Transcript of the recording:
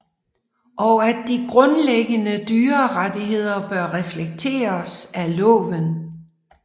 Og at de grundlæggende dyrerettigheder bør reflekteres af loven